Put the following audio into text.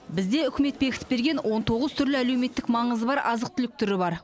бізде үкімет бекітіп берген он тоғыз түрлі әлеуметтік маңызы бар азық түлік түрі бар